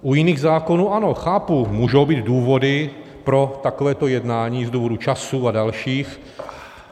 U jiných zákonů, ano, chápu, můžou být důvody pro takovéto jednání - z důvodu času a dalších.